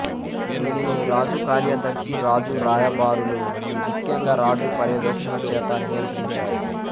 దీనిని రాజుకార్యదర్శి రాజు రాయబారులు ముఖ్యంగా రాజు పర్యవేక్షణ చేత నియంత్రించారు